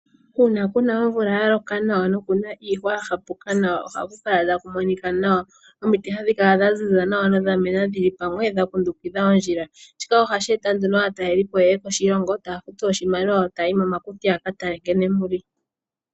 Uuna kuna omvula yaloka nawa, nokuna iihwa ya hapuka nawa, ohaku kala taku monika nawa. Omiti hadhi kala dha ziza nawa, nodha mena dhili pamwe, dha kundukidha ondjila. Shika ohashi eta nduno yeye moshilongo, taya futu oshimaliwa opo yaye momakuti, yaka tale nkene muli.